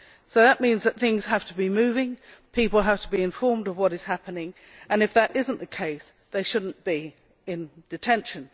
So that means that things have to be moving, people have to be informed of what is happening and if that is not the case they should not be in detention.